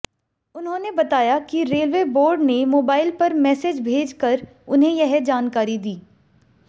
उन्होंने बताया कि रेलवे बोर्ड ने मोबाइल पर मैसेज भेजकर उन्हें यह जानकारी दी